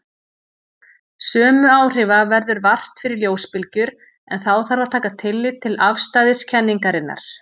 Sömu áhrifa verður vart fyrir ljósbylgjur en þá þarf að taka tillit til afstæðiskenningarinnar.